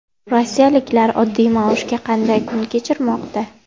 Rossiyaliklar oddiy maoshga qanday kun kechirmoqda?.